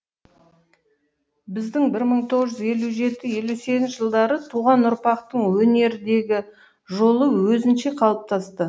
біздің бір мың тоғыз жүз елу жеті елу сегізінші жылдары туған ұрпақтың өнердегі жолы өзінше қалыптасты